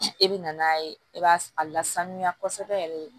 E bɛ na n'a ye e b'a lasanuya kosɛbɛ yɛrɛ